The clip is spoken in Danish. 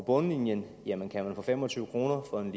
bundlinjen jamen kan man få fem og tyve kroner for en